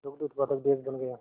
दुग्ध उत्पादक देश बन गया